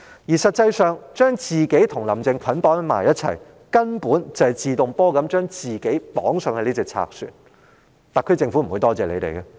事實上，將自己與"林鄭"捆綁在一起，根本與自動登上賊船無異，特區政府是不會感謝的。